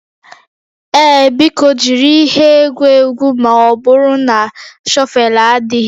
Ee, biko jiri ihe egwu egwu ma ọ bụrụ na shọvel adịghị